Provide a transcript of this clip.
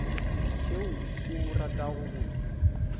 tšeo o ratago go di